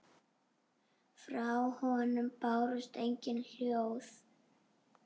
Frá honum bárust engin hljóð.